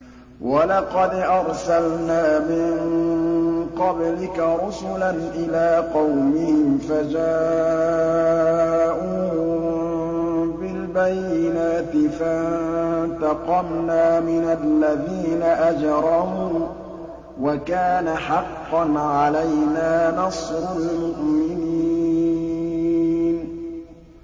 وَلَقَدْ أَرْسَلْنَا مِن قَبْلِكَ رُسُلًا إِلَىٰ قَوْمِهِمْ فَجَاءُوهُم بِالْبَيِّنَاتِ فَانتَقَمْنَا مِنَ الَّذِينَ أَجْرَمُوا ۖ وَكَانَ حَقًّا عَلَيْنَا نَصْرُ الْمُؤْمِنِينَ